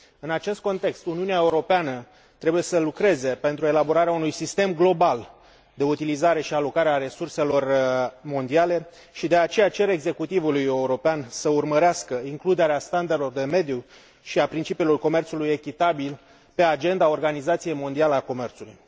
În acest context, Uniunea Europeană trebuie să lucreze pentru elaborarea unui sistem global de utilizare și alocare a resurselor mondiale și, de aceea, cer executivului european să urmărească includerea standardelor de mediu și a principiului comerțului echitabil pe agenda Organizației Mondiale a Comerțului.